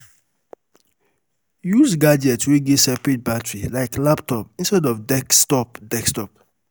Use gadget wey get seperate battery like laptop instead of desktop desktop